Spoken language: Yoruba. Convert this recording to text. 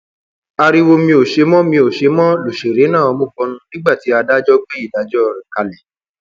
ariwo mi ò ṣe é mi ò ṣe é lọsẹrẹ náà mú bọnu nígbà tí adájọ gbé ìdájọ rẹ kalẹ